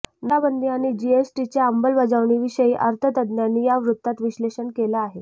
नोटाबंदी आणि जीएसटीच्या अंमलबजावणीविषयी अर्थतज्ज्ञांनी या वृत्तात विश्लेषण केलं आहे